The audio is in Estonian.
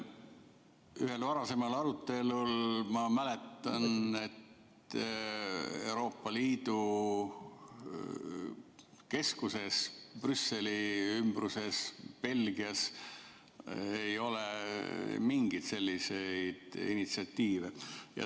Ühest varasemast arutelust ma mäletan, et Euroopa Liidu keskuses, Brüsseli ümbruses, Belgias ei ole mingeid selliseid initsiatiive.